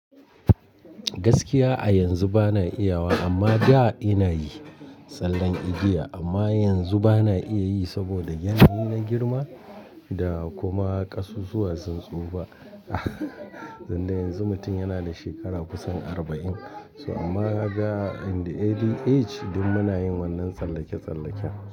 Gaskiya a yanzu ba na iya ba, amma da ina yi tsallen igiya amma yanzu ba na iya yi saboda yanayi na girma da kuma ƙasusuwa sun tsufa. Tunda yanzu mutum yana da shekara kusan arba'in. So amma ga in the ADH duk muna yin wannan tsallake-tsallaken.